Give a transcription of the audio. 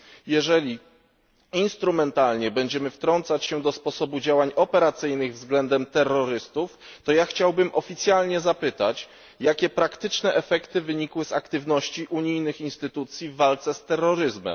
Jeżeli instrumentalnie będziemy wtrącać się do sposobu działań operacyjnych względem terrorystów, to ja chciałbym oficjalnie zapytać, jakie praktyczne efekty wynikły z aktywności unijnych instytucji w walce z terroryzmem?